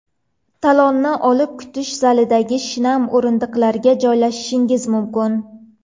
Talonni olib kutish zalidagi shinam o‘rindiqlarga joylashishingiz mumkin.